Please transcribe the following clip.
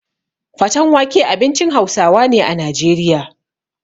Fatan wake abincin Hausawa ne a Najeriya.